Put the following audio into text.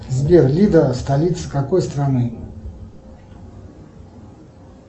сбер лида столица какой страны